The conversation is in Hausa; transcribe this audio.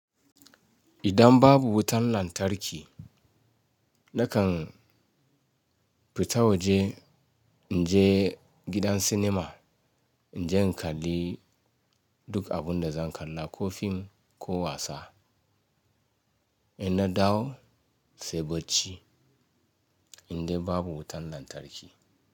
Idan babu wutan lantarki nakan fita waje in je gidan sinima in je in kalli duk abun da zan kalla ko film ko wasa. In na dawo sai bacci in dai babu wutan lantarki.